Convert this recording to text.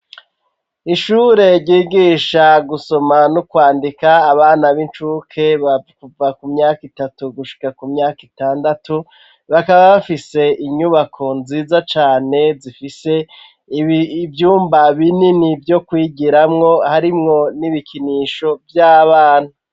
Ishure ryigisha gusoma no kwandika abana b'incuke kuva ku myaka itatu gushika ku myaka itandatu, bakaba bafise inyubako nziza cane zifise ivyumba binini vyo kwigiramwo, harimwo n'ibikinisho vy'abana.